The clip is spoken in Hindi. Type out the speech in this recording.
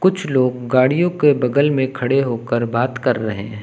कुछ लोग गाड़ियों के बगल में खड़े होकर बात कर रहे हैं।